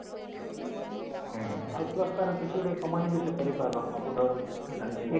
ହଁ ଆଉ plus ତାର କିଛି ଗୁଟେ କମାନୀ ବି ସେ କରି ପାରିବା computer ଜାଣିଛି ବେଲେ